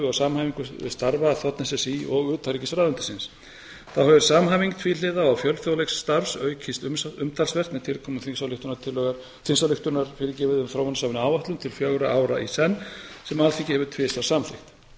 og samhæfingu starfa þ s s í og utanríkisráðuneytisins þá hefur samhæfing tvíhliða og fjölþjóðlegs starfs aukist umtalsvert með tilkomu þingsályktunar um þróunarsamvinnuáætlun til fjögurra ára í senn sem alþingi hefur tvisvar samþykkt